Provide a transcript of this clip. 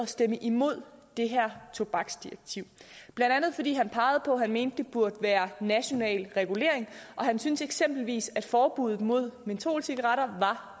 stemme imod det her tobaksdirektiv blandt andet fordi han pegede på at han mente at det burde være en national regulering og han syntes eksempelvis at forbuddet mod mentolcigaretter var